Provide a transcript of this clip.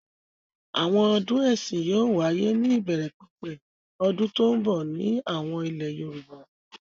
Àwọn ọdún ẹ̀sìn yóò wáyé ní ìbẹ̀rẹ̀pẹ̀pẹ̀ ọdún tó ń bọ̀ ní àwọn ilẹ̀ Yorùbá.